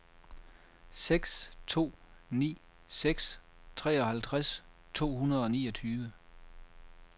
seks to ni seks treoghalvtreds to hundrede og niogtyve